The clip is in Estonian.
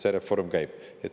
See reform käib.